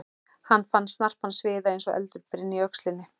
Hann fann snarpan sviða eins og eldur brynni í öxlinni.